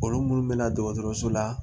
Olu munnu bɛ na dɔgɔtɔrɔso la